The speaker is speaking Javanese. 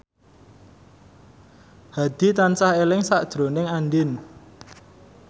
Hadi tansah eling sakjroning Andien